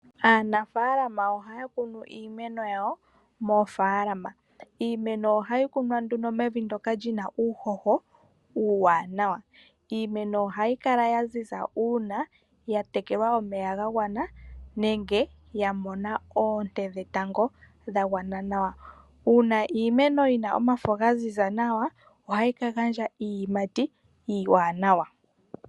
Aanafaalama ohaya kunu iimeno yawo moofaalama. Iimeno ohayi kunwa nduno mevi ndoka lyina uuhoho uuwaanawa. Iimeno ohayi kala ya ziza uuna ya tekelwa omeya gagwana nenge ya mona oonte dhetango dha gwana nawa. Uuna iimeno yina omafo ga ziza nawa ohayi ka gandja iiyimati iiwaanawa.